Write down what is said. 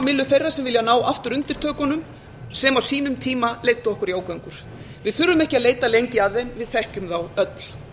myllu þeirra sem vilja ná aftur undirtökunum sem á sínum tíma leiddu okkur í ógöngur við þurfum ekki að leita lengi að þeim við þekkjum þá öll